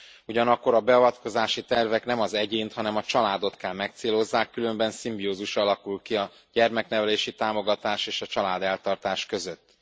Ugyanakkor a beavatkozási tervek nem az egyént, hanem a családot kell megcélozzák, különben szimbiózis alakul ki a gyereknevelési támogatás és a családeltartás között.